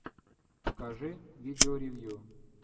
покажи видео ревью